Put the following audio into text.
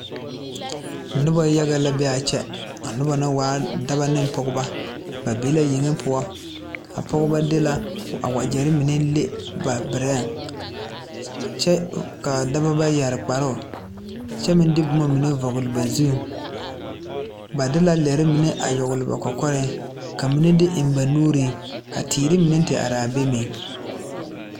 Noba yaga la be a kyɛ a noba waa la dɔbɔ ne pɔgeba ba be la yeŋe poɔ a pɔgeba de la a wagyɛ mine le ba berɛŋ kyɛ ka a dɔbɔ ba yɛre kparoo kyɛ meŋ de bomamine vɔgle ba zuŋ ba de la leremine a yagle ba kɔkɔreŋ ka mine de eŋ ba nuuriŋ ka teere mine te are be meŋ.